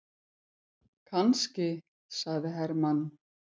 Kannski, sagði Hermann.